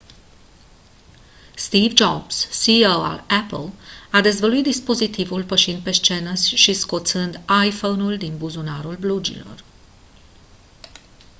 steve jobs ceo al apple a dezvăluit dispozitivul pășind pe scenă și scoțând iphone-ul din buzunarul blugilor